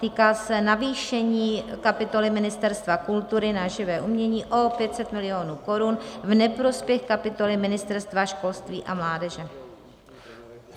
Týká se navýšení kapitoly Ministerstva kultury na živé umění o 500 milionů korun v neprospěch kapitoly Ministerstva školství a mládeže.